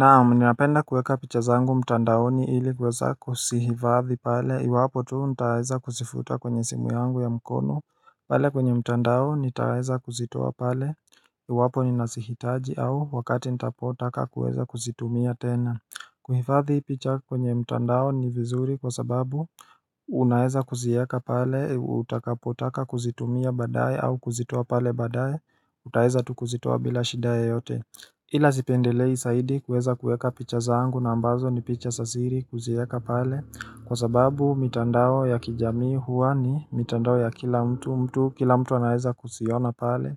Naam napenda kueka picha zangu mtandaoni ili kweza kusihivadhi pale iwapo tuu nitaweza kusifuta kwenye simu yangu ya mkono pale kwenye mtandao nitaweza kuzitoa pale iwapo ninasihitaji au wakati ntapotaka kuweza kuzitumia tena Kuhivadhi picha kwenye mtandao ni vizuri kwa sababu Unaweza kuzieka pale utakapotaka kuzitumia badaye au kuzitoa pale badaye utaeza tukuzitoa bila shida yeyote Ila zipendelei saidi kueza kueka picha zangu na ambazo ni picha zasiri kuzieka pale Kwa sababu mitandao ya kijamii huwa ni mitandao ya kila mtu mtu kila mtu anaeza kusiona pale